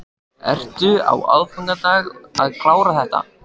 Ertu á aðfangadag að klára þetta?